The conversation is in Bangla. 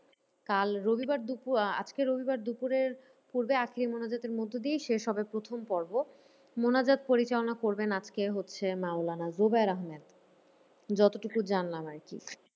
কাল রবিবার দুপুর আহ আজকে রবিবার দুপুরের পূর্বে আখেরি মোনাজাতের মধ্যে দিয়েই শেষ হবে প্রথম পর্ব। মোনাজাত পরিচালনা করবেন আজকে হচ্ছে মাওলানা জুবের আহমেদ। যতটুকু জানলাম আরকি